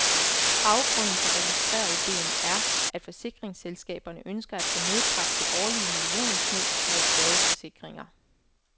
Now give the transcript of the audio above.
Baggrunden for registeridéen er, at forsikringsselskaberne ønsker at få nedbragt det årlige millionsnyd med skadesforsikringer.